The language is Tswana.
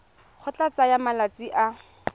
go tla tsaya malatsi a